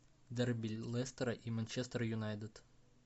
дерби лестера и манчестер юнайтед